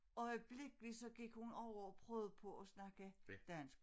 Øjeblikkelit så gik hun over og prøvede på at snakke dansk